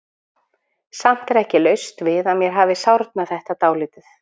Samt er ekki laust við að mér hafi sárnað þetta dálítið.